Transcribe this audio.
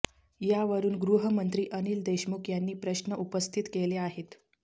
यावरून गृहमंत्री अनिल देशमुख यांनी प्रश्न उपस्थित केले आहेत